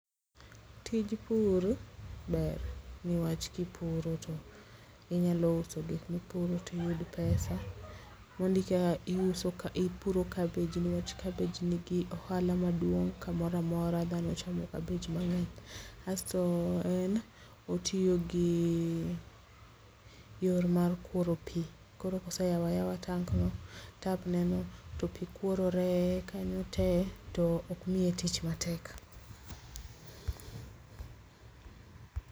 Tij pur ber, niwach kipuro to inyalo uso gik mipuro tiyud pesa. Mondi ka ipuro cabbage nikech cabbage nigi ohala maduong' kamoramora dhano chamo cabbage mang'eny. Asto en otiyo gi yor mar kworo pi, koro koseyawayawa tank no, tap ne no to pi kworore kanyo te to ok miye tich matek.